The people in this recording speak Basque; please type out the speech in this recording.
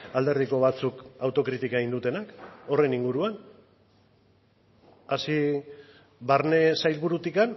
alderdiko batzuk autokritika egin dutenak horren inguruan hasi barne sailburutik